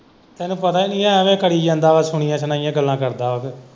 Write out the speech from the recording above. ਤੈਨੂੰ ਪਤਾ ਵੀ ਏ, ਐਂਵੇ ਕਰੀ ਜਾਂਦਾ ਵਾ ਸੁਣੀਆ ਸੁਣਾਈਆਂ ਗੱਲਾਂ ਕਰਦਾ ਓਵੀਂ।